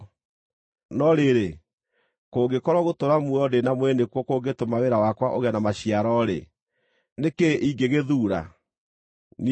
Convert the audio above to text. No rĩrĩ, kũngĩkorwo gũtũũra muoyo ndĩ na mwĩrĩ nĩkuo kũngĩtũma wĩra wakwa ũgĩe na maciaro-rĩ, nĩ kĩĩ ingĩgĩthuura? Niĩ ndiũũĩ!